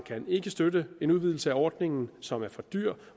ikke støtte en udvidelse af ordningen som er for dyr